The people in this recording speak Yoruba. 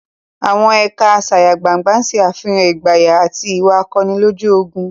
Àwọn ẹ̀ka asayagbangna ṣe àfihàn ìgboyà àti ìwà akọni lójú ogun.